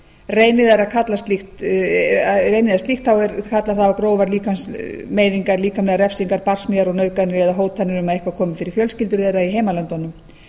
reyni þær slíkt kallar það á grófar líkamsmeiðingar líkamlegar refsingar barsmíðar og nauðganir eða hótanir um að eitthvað komi fyrir fjölskyldur þeirra í heimalöndunum